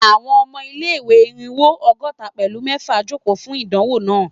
Àwọn ọmọ ilé-ìwé Irínwó ọgọ́ta pẹ̀lú mẹfa joko fun idanwo naa